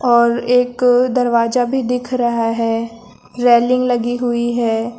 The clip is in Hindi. और एक दरवाजा भी दिख रहा है रेलिंग लगी हुई है।